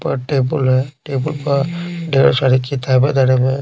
वहा टेबल हैटेबल पर।